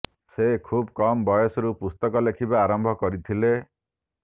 ସେ ଖୁବ୍ କମ ବୟସରୁ ପୁସ୍ତକ ଲେଖିବା ଆରମ୍ଭ କରିଥିଲେ